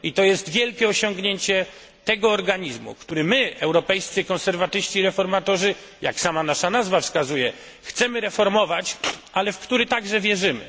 To jest wielkie osiągnięcie tego organizmu, który my, Europejscy Konserwatyści i Reformatorzy, jak sama nasza nazwa wskazuje, chcemy reformować, ale w który także wierzymy.